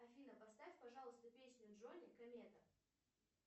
афина поставь пожалуйста песню джони комета